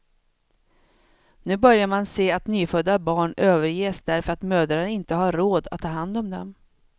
Nu börjar man se att nyfödda barn överges därför att mödrarna inte har råd att ta hand om dem.